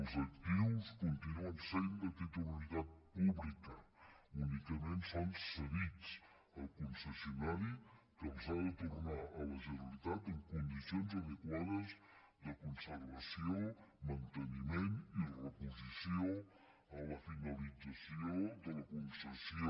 els actius continuen sent de titularitat pública únicament són cedits al concessionari que els ha de tornar a la generalitat en condicions adequades de conservació manteniment i reposició a la finalització de la concessió